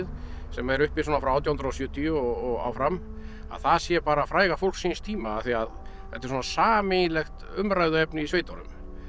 sem er uppi svona frá átján hundruð og sjötíu og áfram að það sé bara fræga fólk síns tíma af því að þetta er sameiginlegt umræðuefni í sveitunum